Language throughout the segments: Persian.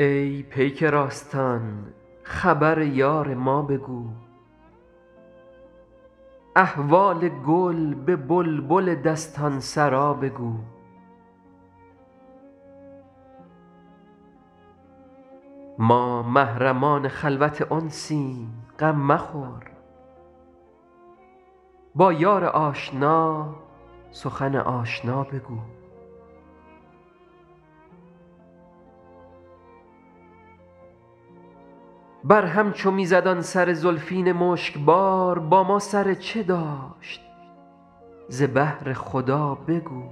ای پیک راستان خبر یار ما بگو احوال گل به بلبل دستان سرا بگو ما محرمان خلوت انسیم غم مخور با یار آشنا سخن آشنا بگو بر هم چو می زد آن سر زلفین مشک بار با ما سر چه داشت ز بهر خدا بگو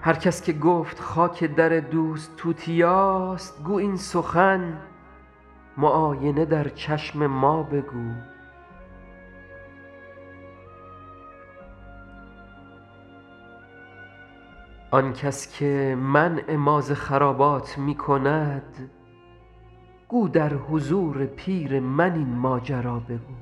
هر کس که گفت خاک در دوست توتیاست گو این سخن معاینه در چشم ما بگو آن کس که منع ما ز خرابات می کند گو در حضور پیر من این ماجرا بگو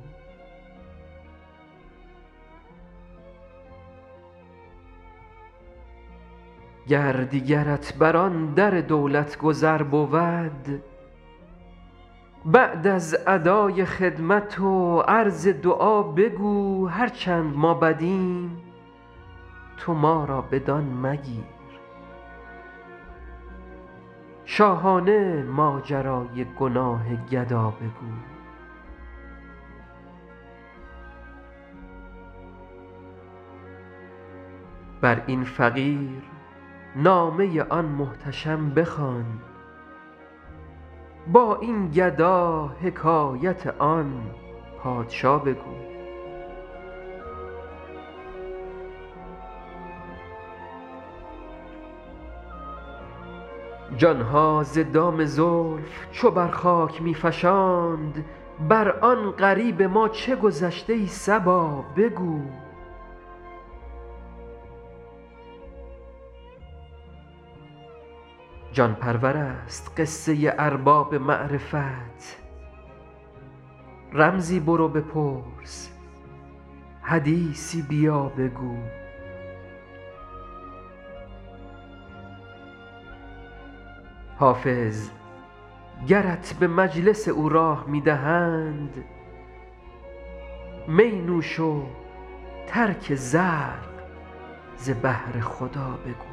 گر دیگرت بر آن در دولت گذر بود بعد از ادای خدمت و عرض دعا بگو هر چند ما بدیم تو ما را بدان مگیر شاهانه ماجرای گناه گدا بگو بر این فقیر نامه آن محتشم بخوان با این گدا حکایت آن پادشا بگو جان ها ز دام زلف چو بر خاک می فشاند بر آن غریب ما چه گذشت ای صبا بگو جان پرور است قصه ارباب معرفت رمزی برو بپرس حدیثی بیا بگو حافظ گرت به مجلس او راه می دهند می نوش و ترک زرق ز بهر خدا بگو